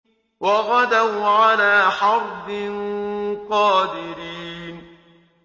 وَغَدَوْا عَلَىٰ حَرْدٍ قَادِرِينَ